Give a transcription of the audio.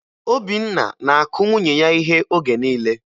Obinna na-akụ nwunye ya íhé oge niile